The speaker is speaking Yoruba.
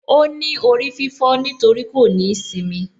Óní orí fífó nítorí kò ní īsimi